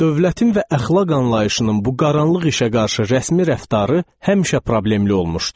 Dövlətin və əxlaq anlayışının bu qaranlıq işə qarşı rəsmi rəftarı həmişə problemli olmuşdu.